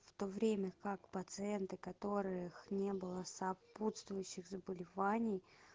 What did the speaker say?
в то время как пациенты которых не было сопутствующих заболеваний